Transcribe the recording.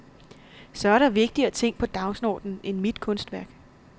Så er der vigtigere ting på dagsordenen end mit kunstværk.